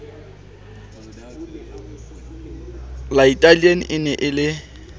latailana e ne e le